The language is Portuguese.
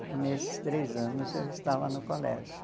E nesses três anos eu estava no colégio.